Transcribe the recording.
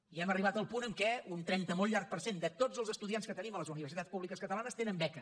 i hem arribat al punt en què un trenta molt llarg per cent de tots els estudiants que tenim a les universitats públiques catalanes tenen beca